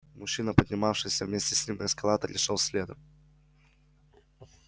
мужчина поднимавшийся вместе с ним на эскалаторе шёл следом